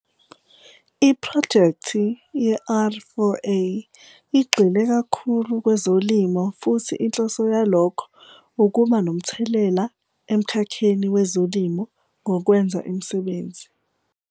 IPhrojekthi ye-R4A igxile kakhulu kwezolimo futhi inhloso yalokho ukuba nomthelela emkhakheni wezolimo ngokwenza imisebenzi.